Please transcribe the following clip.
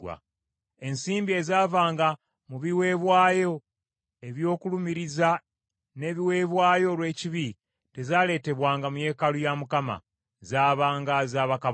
Ensimbi ezaavanga mu biweebwayo eby’okulumiriza n’ebiweebwayo olw’ekibi tezaaleetebwanga mu yeekaalu ya Mukama , zaabanga za bakabona.